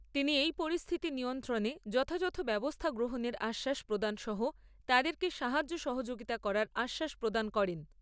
তিনি এই পরিস্থিতি নিয়ন্ত্রণে যথাযথ ব্যবস্থা গ্রহণের আশ্বাস প্রদান সহ তাদেরকে সাহায্য সহযোগিতা করার আশ্বাস প্রদান করেন।